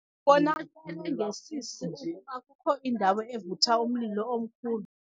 Kubonakele ngesisi ukuba kukho indawo evutha umlilo omkhulu.